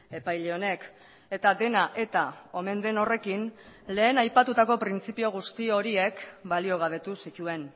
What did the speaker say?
epaile honek eta dena eta omen den horrekin lehen aipatutako printzipio guzti horiek baliogabetu zituen